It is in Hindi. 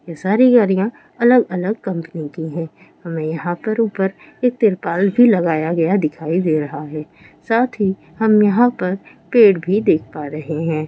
ये सारी गाड़िया अलग अलग कंपनी की है हमें यहा ऊपर एक तिरपाल भी लगाया हुआ दिखाई दे रहा है साथ ही हम यहाँ पर पेड़ भी देख पा रहे है।